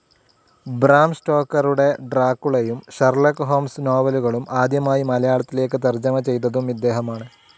Bram സ്റ്റോക്കറുടെ ഡ്രാക്കുളയും, Sherlock Holmes നോവലുകളും ആദ്യമായി മലയാളത്തിലേക്ക് തർജ്ജമ ചെയ്തതും ഇദ്ദേഹമാണ്.